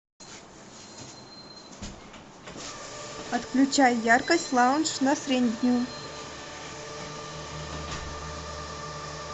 отключай яркость лаунж на среднюю